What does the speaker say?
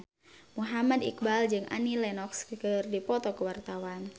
Muhammad Iqbal jeung Annie Lenox keur dipoto ku wartawan